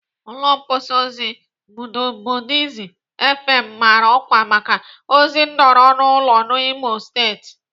Ụlọ mgbasa ozi Buzubodi fm mara ọkwa maka ozi nọrọ n'ụlọ n'Imo steeti.